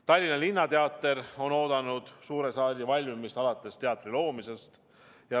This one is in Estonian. Tallinna Linnateater on oodanud suure saali valmimist alates teatri loomisest.